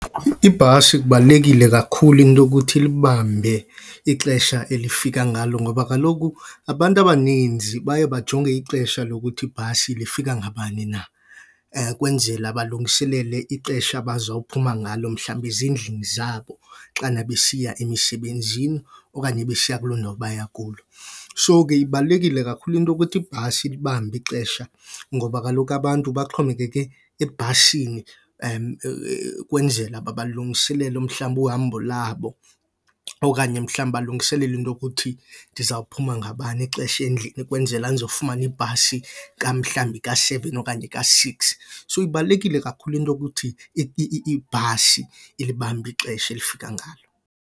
Ibhasi kubalulekile kakhulu into yokuthi ilibambe ixesha elifika ngalo ngoba kaloku abantu abaninzi baye bajonge ixesha lokuthi ibhasi lifika ngabani na kwenzela balungiselele ixesha abazawuphuma ngalo mhlawumbi ezindlini zabo xana besiya emisebenzini okanye besiya kuloo ndawo baya kulo. So ke ibalulekile kakhulu into yokuthi ibhasi ilibambe ixesha ngoba kaloku abantu baxhomekeke ebhasini ukwenzela balungiselele mhlambi uhambo labo okanye mhlambi balungiselela into yokuthi ndizawuphuma ngabani ixesha endlini ukwenzela ndizofumana ibhasi mhlawumbi ka-seven okanye ka-six. So ibalulekile kakhulu into yokuthi ibhasi ilibambe ixesha elifika ngalo.